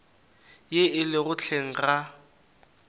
ye e lego hleng ga